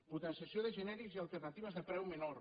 potenciació de genèrics i alternatives de preu menor